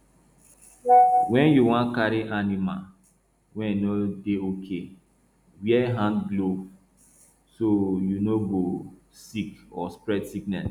wen yu wan carry animal wey no dey okay wear hand glove so yu no go sick or spread sickness